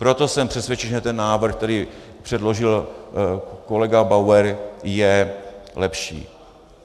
Proto jsem přesvědčen, že ten návrh, který předložil kolega Bauer je lepší.